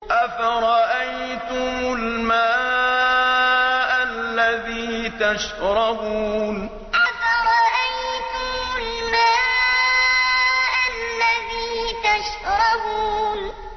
أَفَرَأَيْتُمُ الْمَاءَ الَّذِي تَشْرَبُونَ أَفَرَأَيْتُمُ الْمَاءَ الَّذِي تَشْرَبُونَ